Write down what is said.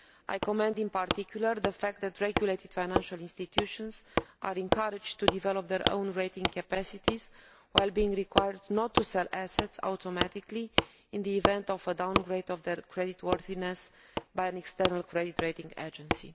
I commend in particular the fact that regulated financial institutions are encouraged to develop their own rating capacities while being required not to sell assets automatically in the event of a downgrade of their creditworthiness by an external credit rating agency.